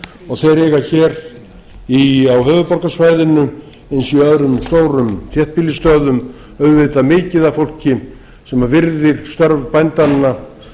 og þeir eiga hér á höfuðborgarsvæðinu eins og í öðrum stórum þéttbýlisstöðum auðvitað mikið af fólki sem virðir störf bændanna